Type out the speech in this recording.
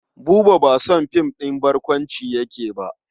Buba ba son film ɗin barkwanci yake ba.